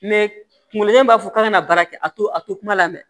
kunkolo zɛmɛ b'a fɔ k'a ka na baara kɛ a to a to kuma lamɛn